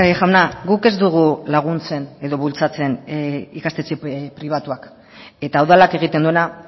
jauna guk ez dugu laguntzen edo bultzatzen ikastetxe pribatuak eta udalak egiten duena